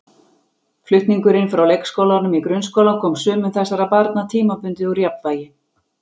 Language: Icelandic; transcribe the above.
Flutningurinn frá leikskólanum í grunnskólann kom sumum þessara barna tímabundið úr jafnvægi.